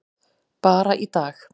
Bara í dag.